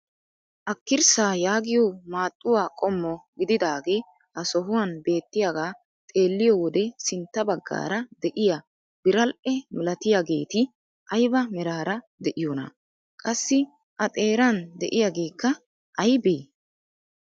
Akirssaa yaagiyoo maaxxuwaa qommo gididagee ha sohuwaan beettiyaaga xeelliyoo wode sintta baggaara de'iyaa biral"e milatiyaageti ayba meraara de'iyoonaa? Qassi a xeeran de'iyaageekka aybee?